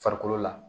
Farikolo la